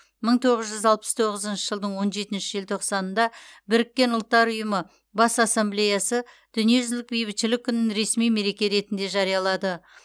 мың тоғыз жүз алпыс тоғызыншы жылдың он жетінші желтоқсанында біріккен ұлттар ұйымы бас ассамблеясы дүниежүзілік бейбітшілік күнін ресми мереке ретінде жариялады